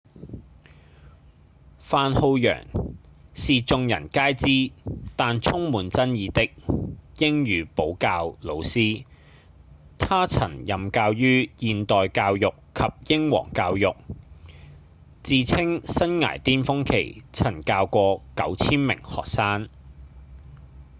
范浩揚是眾人皆知但充滿爭議的英語補教老師他曾任教於現代教育及英皇教育自稱生涯顛峰期曾教過 9,000 名學生